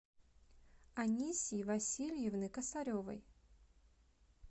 анисьи васильевны косаревой